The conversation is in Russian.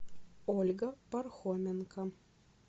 ольга пархоменко